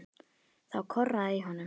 Þá korraði í honum.